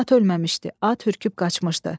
At ölməmişdi, at hürkülüb qaçmışdı.